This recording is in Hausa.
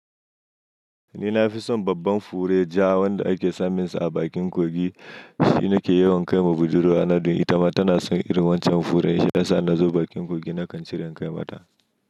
Ni na fi son babban fure ja wanda ake saminsa a bakin kogi. Shi nake yawan kai wa budurwana ɗun itama. Tana san irin wancen fure ja shi yasa in nazu bakin kogi nakan cire in kai mata.